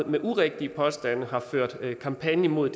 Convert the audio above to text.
med urigtige påstande har ført kampagne mod